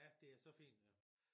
Ja det er så fint